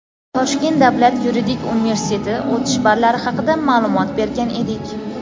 Toshkent davlat yuridik universiteti o‘tish ballari haqida ma’lumot bergan edik.